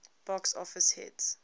box office hit